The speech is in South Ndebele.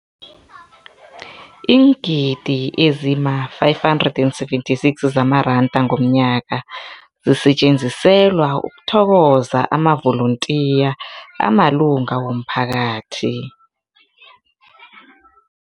Iingidi ezima-576 zamaranda ngomnyaka zisetjenziselwa ukuthokoza amavolontiya amalunga womphakathi.